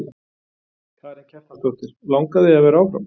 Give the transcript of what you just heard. Karen Kjartansdóttir: Langar þig að vera áfram?